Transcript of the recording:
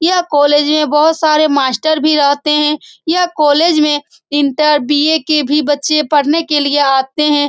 ये कॉलेज मे बहुत सारे मास्टर भी रहते है ये कॉलेज मे इंटर बी.ए. के भी बच्चे पढने के लिए आते है।